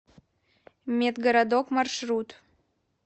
медгородок маршрут